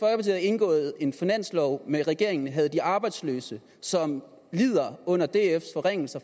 havde indgået en finanslov med regeringen havde de arbejdsløse som lider under dfs forringelser